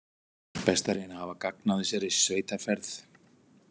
Best að reyna að hafa gagn af þessari sveitarferð.